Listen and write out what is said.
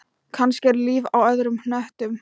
Kannski er líf á öðrum hnöttum.